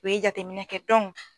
U ye jateminɛ kɛ